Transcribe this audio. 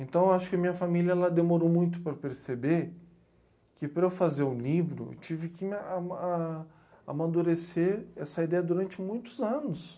Então, acho que minha família demorou muito para perceber que, para eu fazer o livro, tive que ma a ama... amadurecer essa ideia durante muitos anos.